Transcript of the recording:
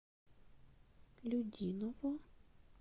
людиново